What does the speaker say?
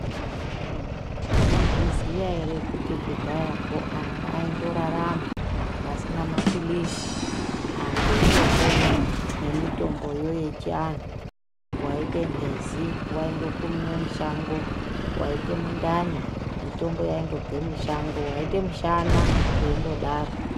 Munozviziva ere kuti kudhayako antu aindorarama pasina mapirizi antu eindopona nemitomboyo echiantu yaita mhezi kowaingokumiwa mishando Waite mundani mutombo waingongabva mushango waita mushana zveita kudaro.